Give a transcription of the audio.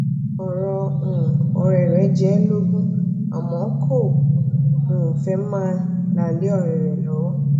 ọrò um òré re jẹ e lógún àmó kò um fé máa la le òré rè lowo